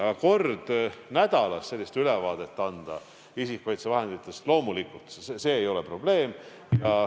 Aga kord nädalas sellist ülevaadet anda isikukaitsevahenditest – loomulikult, see ei ole probleem.